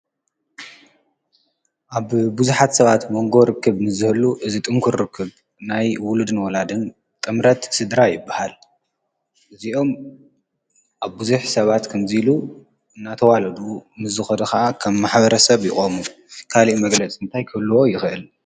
ኣብ ብዙሓት ሰባት መንጎ ርክብ ምስዝህሉ እዚ ጥንኩር ርክብ ናይ ውሉድን ወላድን ጥምረት ስድራ ይብሃል፡፡ እዚኦም ኣብ ብዙሕ ሰባት ከምዙ ኢሉ ናተዋለዱ ምስዝኸዱ ኸዓ ኸም ማሐበረ ሰብ ይቖሙ፡፡ ካልእ መግለፂ እንታይ ክህልዎ ይኽእል?